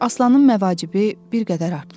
Aslanın məvacibi bir qədər artmışdı.